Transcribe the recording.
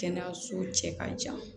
Kɛnɛyaso cɛ ka jan